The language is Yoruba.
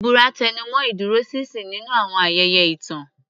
Ìbúra tẹnumọ́ ìdúróṣinṣin nínú àwọn ayẹyẹ ìtàn.